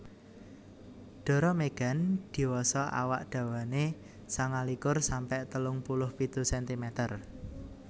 Dara Megan diwasa awak dawane sangalikur sampe telung puluh pitu sentimeter